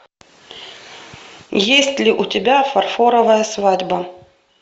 есть ли у тебя фарфоровая свадьба